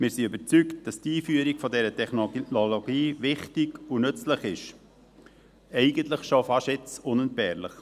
Wir sind überzeugt, dass die Einführung dieser Technologie wichtig und nützlich ist, eigentlich schon fast jetzt unentbehrlich.